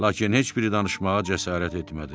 Lakin heç biri danışmağa cəsarət etmədi.